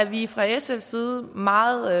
vi fra sfs side meget